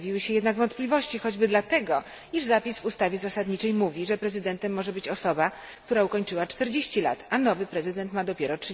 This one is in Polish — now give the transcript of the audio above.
Pojawiły się jednak wątpliwości choćby dlatego, iż zapis w ustawie zasadniczej mówi, że prezydentem może być osoba, która ukończyła 40 lat, a nowy prezydent ma dopiero